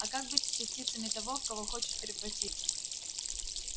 а как быть с частицами того в кого хочешь превратиться